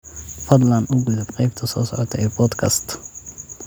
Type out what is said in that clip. fadlan u gudub qaybta soo socota ee podcast